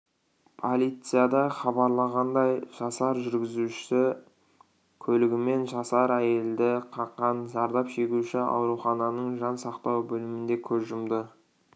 полицияда хабарлағандай жасар жүргізуші көлігімен жасар әйелді қаққан зардап шегуші аурухананың жан сақтау бөлімінде көз жұмды